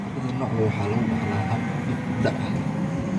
Labada noocba waxa lagu dhaxlaa hab dib u dhac ah.